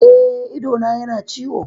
Eh, idona yana ciwo